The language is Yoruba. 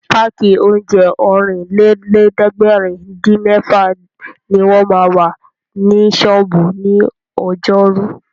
Páàkì oúnjẹ Ọ̀rìnlélẹ̀ẹ́dẹ́gbèrin-dín-mẹ́fà ní wọ́n ma wà ní ṣọ́ọ̀bú ní ọjọ́rú